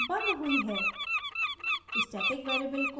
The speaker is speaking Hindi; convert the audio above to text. यहाँ class बंद हुई है